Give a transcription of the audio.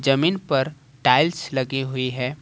जमीन पर टाइल्स लगी हुई है।